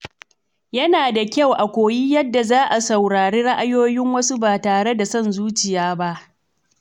Yana da kyau a koyi yadda za a saurari ra’ayoyin wasu ba tare da son zuciya ba.